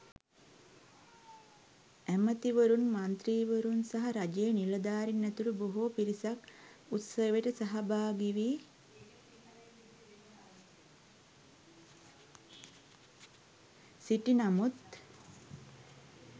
ඇමතිවරුන් මන්ත්‍රීවරුන් සහ රජයේ නිලධාරීන් ඇතුළු බොහෝ පිරිසක් උත්සවයට සහභාගි වී සිටි නමුත්